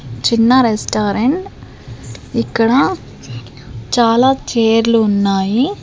చిన్న రెస్టారెంట్ ఇక్కడ చాలా చేర్లు ఉన్నాయి.